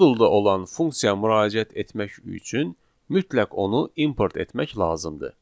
Modulda olan funksiyaya müraciət etmək üçün mütləq onu import etmək lazımdır.